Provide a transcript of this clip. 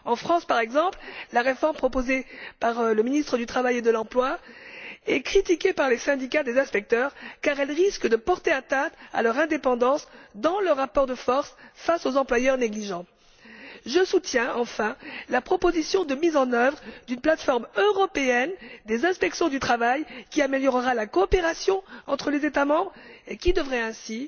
En France, par exemple, la réforme proposée par le ministre du travail et de l'emploi est critiquée par les syndicats des inspecteurs car elle risque de porter atteinte à leur indépendance dans le rapport de force face aux employeurs négligents. Enfin, je soutiens la proposition de mise en œuvre d'une plateforme européenne des inspections du travail qui améliorera la coopération entre les États membres et qui devrait ainsi